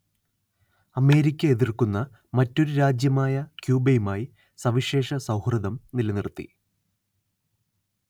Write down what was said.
America എതിർക്കുന്ന മറ്റൊരു രാജ്യമായ ക്യൂബയുമായി സവിശേഷ സൗഹൃദം നിലനിർത്തി